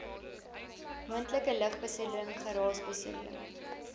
moontlike lugbesoedeling geraasbesoedeling